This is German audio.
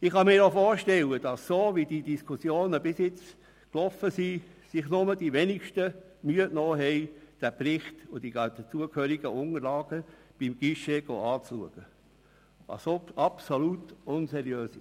Ich kann mir aufgrund der bisherigen Diskussion vorstellen, dass sich wohl die Wenigsten die Mühe gemacht haben, den Bericht und die dazugehörigen Unterlagen beim Guichet einzusehen, was absolut unseriös ist.